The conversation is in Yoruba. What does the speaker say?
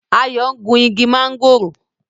Ayo ń gún ìgi Mángòrò.